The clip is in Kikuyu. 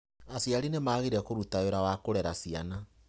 Aciari nĩ magĩrĩire kũruta wĩra wa kũrera ciana